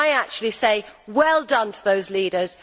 I actually say Well done' to those leaders.